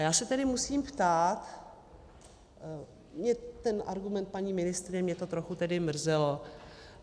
A já se tedy musím ptát, mě ten argument, paní ministryně, mě to trochu tedy mrzelo.